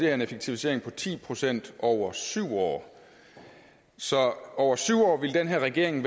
er en effektivisering på ti procent over syv år så over syv år ville den her regering